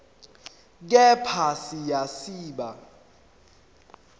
kepha siya siba